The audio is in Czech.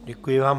Děkuji vám.